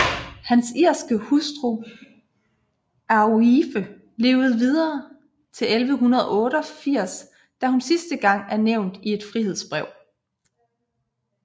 Hans irske hustru Aoife levde videre til 1188 da hun sidste gang er nævnt i et frihedsbrev